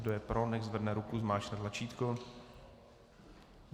Kdo je pro, nechť zvedne ruku, zmáčkne tlačítko.